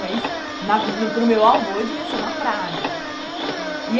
Mas, na vi para o meu avô, eu devia ser uma praga, né?